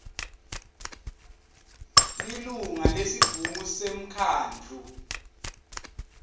lilunga lesigungu semkhandlu